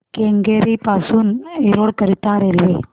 केंगेरी पासून एरोड करीता रेल्वे